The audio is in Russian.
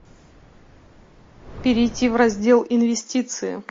перейти в раздел инвестиции